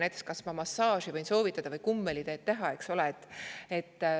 Näiteks, kas ma massaaži või kummeliteed võin soovitada?